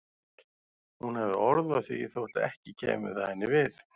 Hún hafði orð á því þótt ekki kæmi það henni við.